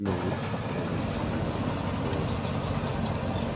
но лучше кэлвин занимались психологией